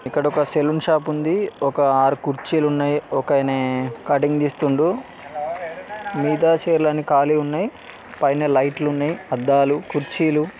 ఇక్కడ ఒక saloon shop ఉంది ఒక ఆరు కుర్చీలు ఉన్నాయి ఒక ఆయన కట్టింగ్ చేస్తుండు మిగతా చైర్ లూ కాళీ గా ఉనాయి పైన లైట్లూ ఉన్నాయి ఆధాలు కుర్చీలు